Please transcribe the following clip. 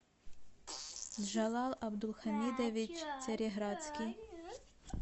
джалал абдулхамидович цареградский